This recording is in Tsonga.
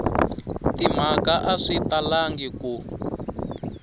timhaka a swi talangi ku